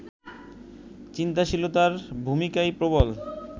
চিন্তাশীলতা’র ভূমিকাই প্রবল